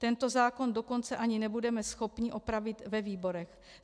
Tento zákon dokonce ani nebudeme schopni opravit ve výborech.